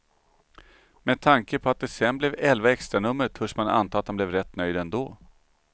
Med tanke på att det sen blev elva extranummer törs man anta att han blev rätt nöjd ändå.